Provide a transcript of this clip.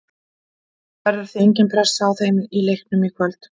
Það verður því engin pressa á þeim í leiknum í kvöld.